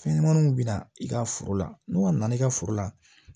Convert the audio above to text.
Fɛnɲɛnɛmaninw bɛ na i ka foro la n'u ka na i ka foro la